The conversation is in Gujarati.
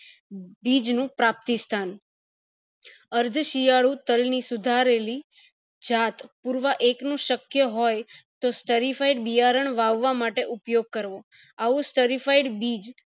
બીજ નું પ્રાપ્તિ સ્થાન અર્થ શિયાળુ તલ ની સુધારેલી જાત પુરવા એક નું શક્ય હોય તો બિયારણ વાવવા માટે ઉપયોગ કરવો આવું બીજ